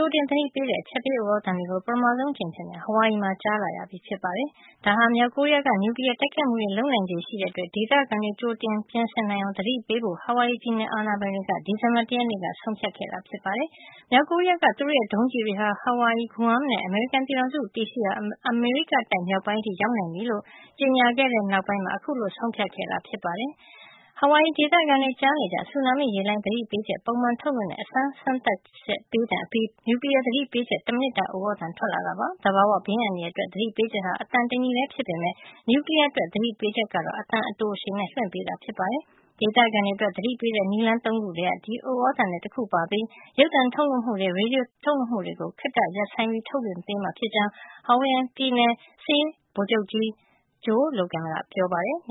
ိုတင် သတိပေးတဲ့ အချက်ပေး ဥသြ သံတွေကို ပထမဆုံး အကြိမ်အဖြစ် Hawaii မှာ ကြားလာရပြီ ဖြစ်ပါတယ်။ ဒါဟာ မြောက် ကိုရီးယားက န ျူကလီယား တိုက်ခိုက်မှုတွေ လုပ်နိုင်ခြေ ရှိနေတဲ့အတွက် ဒေသခံတွေ ကြိုတင် ပြင်ဆင်နိုင်အောင် သတိပေးဖို့ Hawaii ပြည်နယ်အာဏာပိုင်တွေက ဒီဇင်ဘာလ ၁ ရက်နေ့က ဆုံးဖြတ်ခဲ့တာ ဖြစ်ပါတယ်။ မြောက်ကိုရီးယားက သူတို့ရဲ့ ဒုံးကျည်တွေဟာ Hawaii, Guam နဲ့ အမေရိကန် ပြည်ထောင်စု တည်ရှိရာ အမေရိကတိုက် မြောက်ပိုင်းအထိ ရောက်နိုင်ပြီလို့ ကြေညာခဲ့တဲ့ နောက်ပိုင်းမှာ အခုလို ဆုံးဖြတ်ခဲ့တာ ဖြစ်ပါတယ်။ Hawaii ဒေသခံတွေ ကြားနေကျ ဆူနာမိရေလှိုင်း သတိပေးချက် ပုံမှန်ထုတ်လွှင့်တဲ့ အစမ်း အချက်ပေးသံ အပြီးမှာ နျူကလီယား သတိပေးချက် တမိနစ်တာ ဥသြသံ ထွက်လာတာ ဖြစ်ပါတယ်။ သဘာဝ ဘေးအန္တရာယ်အတွက် သတိပေးချက်က အသံ တညီထဲ ဖြစ်ပေမယ့် နျူကလီယားအတွက် သတိပေးချက်က အသံ အတိုအရှည်နဲ့ လွှင့်ပေးတာပါ။ ဒေသခံတွေ အတွက် သတိပေးတဲ့ နည်းလမ်း ၃ ခုထဲက ဒီဥသြသံလည်း တခုပါပြီး ရုပ်သံ လွှင့်မှုတွေ ရေဒီယိုအသံလွှင့်မှုတွေကို ခေတ္တရပ် ဆိုင်းပြီး ထုတ်လွှင့်ပေးမှာ ဖြစ်ကြောင်း Hawaii ပြည်နယ် စစ်ရေးချုပ် ဗိုလ်ချုပ်ကြီး Joe Logan က ပြောပါတယ်။